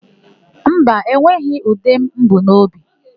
Mba, enweghị ude m bu n'obi.